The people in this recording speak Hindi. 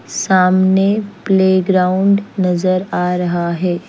सामने प्लेग्राउंड नज़र आ रहा है।